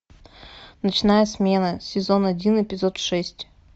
ночная смена сезон один эпизод шесть